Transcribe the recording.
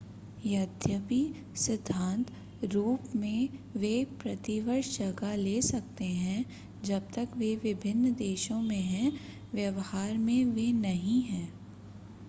यद्यपि सिद्धांत रूप में वे प्रतिवर्ष जगह ले सकते हैं जब तक वे विभिन्न देशों में हैं व्यवहार में वे नहीं हैं।